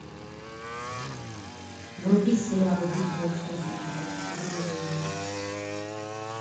вруби сериал битва экстрасенсов сезон одиннадцать